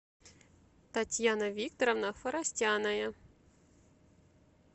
татьяна викторовна форостяная